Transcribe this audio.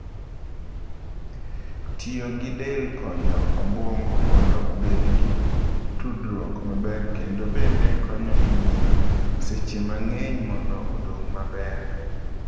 Tiyo gi del konyo obwongo mondo obed gi tudruok maber kendo bende konyo e miyo seche mang’eny mondo odong’ maber.